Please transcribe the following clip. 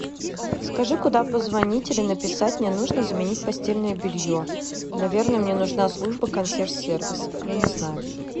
скажи куда позвонить или написать мне нужно заменить постельное белье наверно мне нужна служба консьерж сервис я не знаю